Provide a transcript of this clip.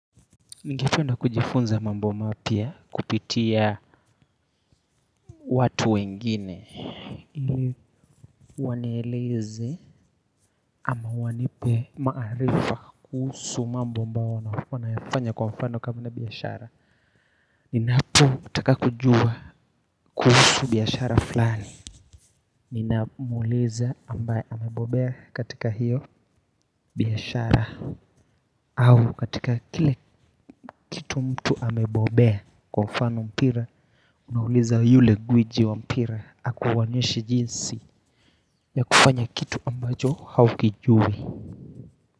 Nigependa kujifunza mambo mapya kupitia watu wengine ili wanileze ama wanipe maarifa kuhusu mambo ambayo wanayafanya kwa mfano kabla biashara. Ninapo taka kujua kuhusu biashara fulani. Ninamuuliza ambae amebobea katika hiyo biashara. Au katika kile kitu mtu amebobea kwa mfano mpira unauliza yule gwiji wa mpira akuonyeshe jinsi ya kufanya kitu ambacho haukijui.